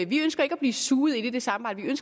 vi ønsker ikke at blive suget ind i det samarbejde